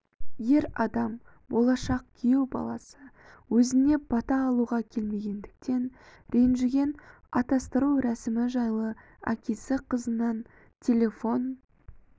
ер адам болашақ күйеу баласы өзіне бата алуға келмегендіктен ренжіген атастыру рәсімі жайлы әкесі қызынан телефон